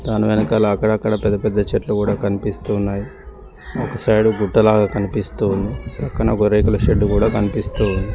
దాని వెనకాల అక్కడక్కడ పెద్ద పెద్ద చెట్లు కూడా కనిపిస్తూ ఉన్నాయి ఒక సైడు గుట్ట లాగా కనిపిస్తూ ఉంది పక్కన ఒక రేకుల షెడ్డు కూడా కనిపిస్తూ ఉంది.